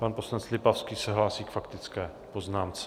Pan poslanec Lipavský se hlásí k faktické poznámce.